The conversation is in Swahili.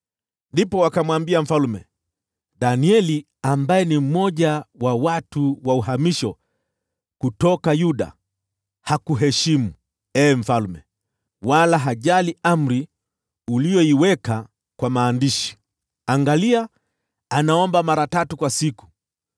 Ndipo wakamwambia mfalme, “Danieli, ambaye ni mmoja wa mahamisho kutoka Yuda, hakuheshimu, ee mfalme, wala hajali amri uliyoiweka kwa maandishi. Bado anaomba mara tatu kwa siku.”